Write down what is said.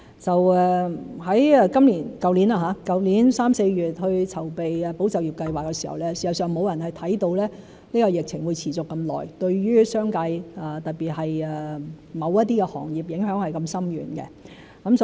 在去年3月、4月籌備"保就業"計劃時，事實上沒有人看到疫情會持續這麼久，對於商界，特別是某些行業的影響是如此深遠。